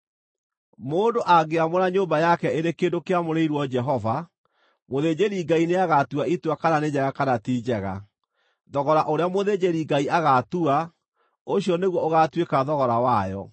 “ ‘Mũndũ angĩamũra nyũmba yake ĩrĩ kĩndũ kĩamũrĩirwo Jehova, mũthĩnjĩri-Ngai nĩagatua itua kana nĩ njega kana ti njega. Thogora ũrĩa mũthĩnjĩri-Ngai agaatua, ũcio nĩguo ũgaatuĩka thogora wayo.